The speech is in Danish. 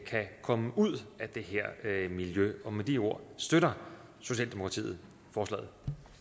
kan komme ud af det her miljø og med de ord støtter socialdemokratiet forslaget